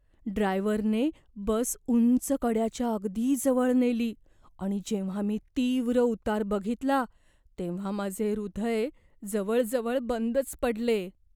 ड्रायव्हरने बस उंच कड्याच्या अगदी जवळ नेली आणि जेव्हा मी तीव्र उतार बघितला तेव्हा माझे हृदय जवळजवळ बंदच पडले.